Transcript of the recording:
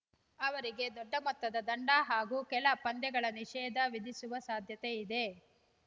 ಅವರಿಗೆ ದೊಡ್ಡ ಮೊತ್ತದ ದಂಡ ಹಾಗೂ ಕೆಲ ಪಂದ್ಯಗಳ ನಿಷೇಧ ವಿಧಿಸುವ ಸಾಧ್ಯತೆ ಇದೆ